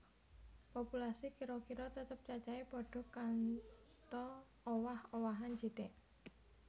Populasi kira kira tetep cacahé padha kantho owah owahan sithik